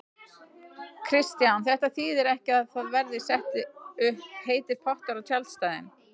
Kristján: Þetta þýðir ekki að það verði settir upp heitir pottar á tjaldstæðin?